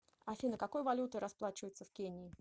афина какой валютой расплачиваются в кении